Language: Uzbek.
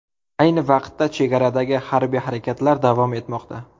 Ayni vaqtda chegaradagi harbiy harakatlar davom etmoqda.